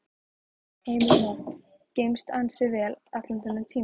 Heimir Már: Geymst ansi vel allan þennan tíma?